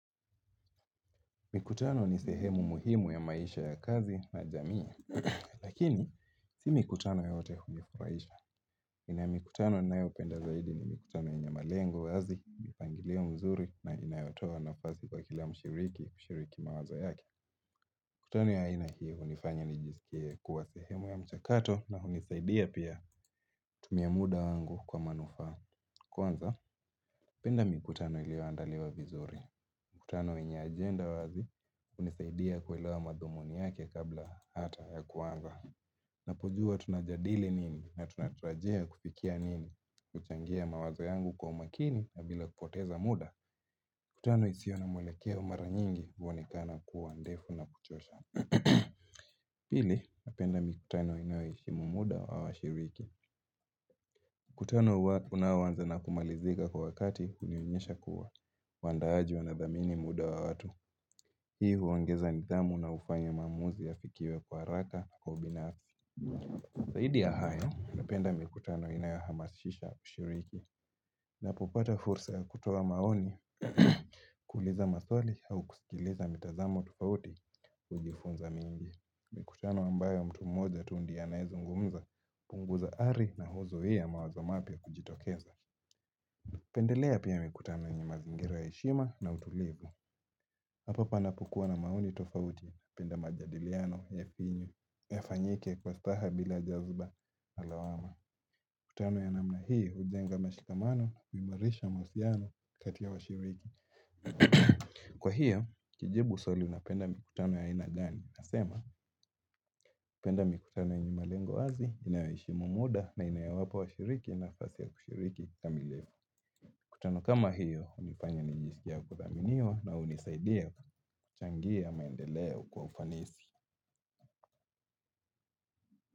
Mikutano ni sehemu muhimu ya maisha ya kazi na jamii, lakini si mikutano yote hunifuraisha. Nina mikutano ninayopenda zaidi ni mikutano yenye malengo wazi, mipangilio mzuri na inayotoa nafasi kwa kila mshiriki, mshiriki mawazo yake. Mikutano ya aina hii unifanya nijisikie kuwa sehemu ya mchakato na unisaidia pia kutumia muda wangu kwa manufaa. Kwanza, penda mikutano iliyoandaliwa vizuri. Mikutano yenye ajenda wazi, unisaidia kuelewa madhumuni yake kabla hata ya kuanza. Napojua tunajadili nini na tunatarajia kupikia nini, kuchangia mawazo yangu kwa umakini na bila kupoteza muda. mKutano isiyo na mwelekeo mara nyingi uonekana kuwa ndefu na kuchosha. Pili, napenda mikutano inayoheshimu muda wa wa shiriki. Mkutano unaoanza na kumalizika kwa wakati hunionyesha kuwa. Waandaaji wanadhamini muda wa watu. Hii huongeza nidhamu na ufanya maamuzi ya fikiwe kwa haraka na kwa ubinaf. Zaidi ya hayo, napenda mikutano inayohamasisha ushiriki. Napopata fursa ya kutoa maoni kuuliza maswali au kusikiliza mitazamo tufauti ujifunza mengi. Mikutano ambayo mtu mmoja tu ndi ye anayezungumza uPunguza ari na huzuia mawazo mapya kujitokeza pendelea pia mikutano yenye ma zingira yaheshima na utulivu Hapapa napokua na maoni tofauti penda majadiliano ya pinyu ya fanyike kwa staha bila jazba alawama Mikutano ya namna hii ujenga mashikamano kuimarisha mawasiliano kati washiriki Kwa hio, kujibu swali napenda mikutano ya aina gani Nasema, napenda mikutano yenye malengo wazi, inayoheshimu muda na inayowapa wa shiriki na fasi ya kushiriki kamileo. miKutano kama hiyo, unifanya ninjisikie wa kuthaminiwa na unisaidia kuchangia maendeleo kwa ufanisi.